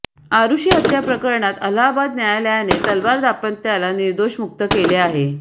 आरुषी हत्याप्रकरणात अलाहाबाद न्यायालयाने तलवार दाम्पत्याला निर्दोष मुक्त केले आहे